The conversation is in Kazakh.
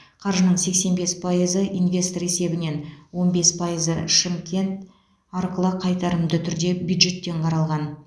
қаржының сексен бес пайызы инвестор есебінен он бес пайызы шымкент арқылы қайтарымды түрде бюджеттен қаралған